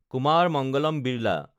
Kumar Mangalam Birla